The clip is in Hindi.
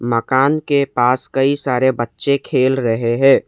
मकान के पास कई सारे बच्चे खेल रहे हैं।